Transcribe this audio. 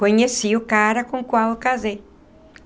Conheci o cara com o qual eu casei.